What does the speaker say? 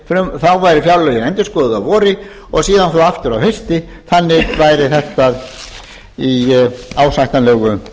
þá væru fjárlögin endurskoðuð að vori og síðan svo aftur að hausti þannig væri þetta í ásættanlegu